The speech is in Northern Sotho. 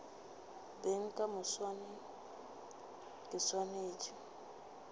beng ka moswane ke swanetše